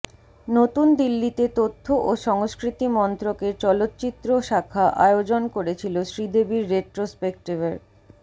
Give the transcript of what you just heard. নতুন দিল্লিতে তথ্য ও সংস্কৃতি মন্ত্রকের চলচ্চিত্র শাখা আয়োজন করেছিল শ্রীদেবীর রেট্রোস্পেক্টিভের